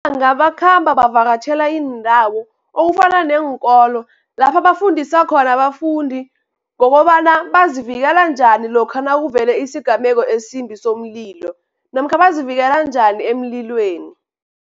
bakhamba bavakatjhela iindawo okufana neenkolo lapha bafundisa khona abafundi, ngokobana bazivikela njani lokha nakuvele isigameko esimbi somlilo, namkha bazivikela njani emlilweni.